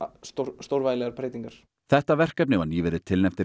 stórvægilegar breytingar þetta verkefni var nýverið tilnefnt til